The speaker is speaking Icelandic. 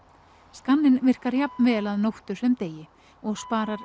skanninn virkar jafn vel að nóttu sem degi og sparar